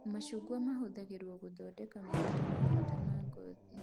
Macungwa mahũthagĩrwo gũthondeka maguta me bata ma ngothi